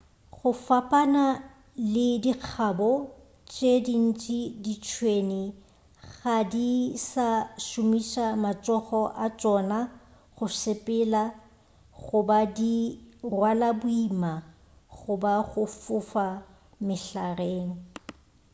go fapana le dikgabo tše dingwe ditšhwene ga di sa šomiša matsogo a tšona go sepela goba go rwala boima goba go fofa mehlareng